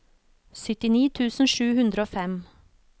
syttini tusen sju hundre og fem